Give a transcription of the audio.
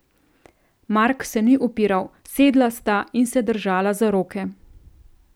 Mark se ni upiral, sedla sta in se držala za roke.